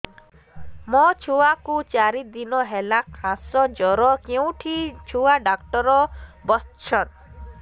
ମୋ ଛୁଆ କୁ ଚାରି ଦିନ ହେଲା ଖାସ ଜର କେଉଁଠି ଛୁଆ ଡାକ୍ତର ଵସ୍ଛନ୍